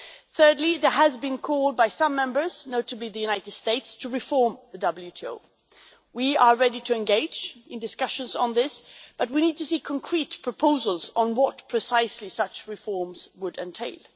Thirdly, there has been call by some members, notably the United States, to reform the WTO. We are ready to engage in discussions on this, but we need to see concrete proposals on what precisely such reforms would entail.